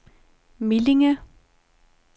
Millinge